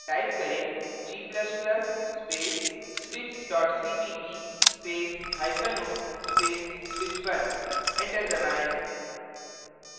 type करें: g ++ space switch cpp spaceo space switch1 enter दबाएँ